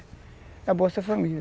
É a bolsa-família.